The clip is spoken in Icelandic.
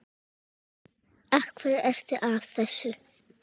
Af hverju ertu að þessu?